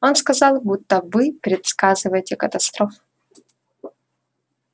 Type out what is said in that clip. он сказал будто вы предсказываете катастрофу